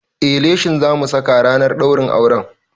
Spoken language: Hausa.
Eh, leshin zamu saka ranar ɗaurin auren